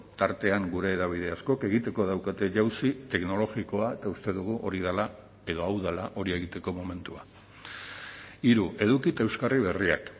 tartean gure hedabide askok egiteko daukate jauzi teknologikoa eta uste dugu hori dela edo hau dela hori egiteko momentua hiru eduki eta euskarri berriak